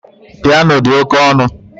Piano dị oke ọnụ